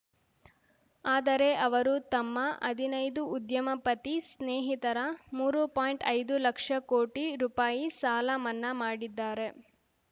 ಆದರೆ ಅವರು ತಮ್ಮ ಹದಿನೈದು ಉದ್ಯಮಪತಿ ಸ್ನೇಹಿತರ ಮೂರು ಪಾಯಿಂಟ್ಐದು ಲಕ್ಷ ಕೋಟಿ ರುಪಾಯಿ ಸಾಲ ಮನ್ನಾ ಮಾಡಿದ್ದಾರೆ